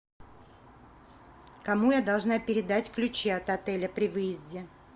кому я должна передать ключи от отеля при выезде